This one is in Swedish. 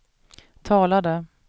talade